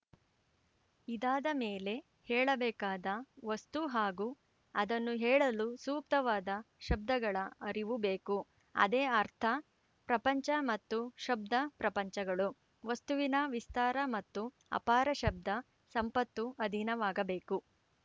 ಇದಾದಮೇಲೆ ಹೇಳಬೇಕಾದ ವಸ್ತು ಹಾಗೂ ಅದನ್ನು ಹೇಳಲು ಸೂಕ್ತವಾದ ಶಬ್ದಗಳ ಅರಿವು ಬೇಕು ಅದೇ ಅರ್ಥ ಪ್ರಪಂಚ ಮತ್ತು ಶಬ್ದ ಪ್ರಪಂಚಗಳು ವಸ್ತುವಿನ ವಿಸ್ತಾರ ಮತ್ತು ಅಪಾರ ಶಬ್ದ ಸಂಪತ್ತು ಅಧೀನವಾಗಬೇಕು